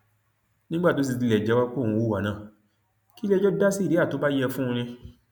nígbà tó sì tilẹ ti jẹwọ pé òun hùwà náà kí iléẹjọ dá síríà tó bá yẹ fún un ni